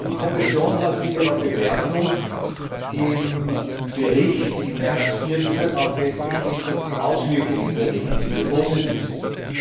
Die Kommission hat in ihrer Bewertung im Bericht im März 2014 auch festgestellt, dass die Auswirkungen der Richtlinie positiv sind.